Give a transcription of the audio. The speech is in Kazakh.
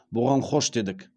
бұған хош дедік